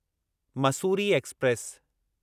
Mussoorie express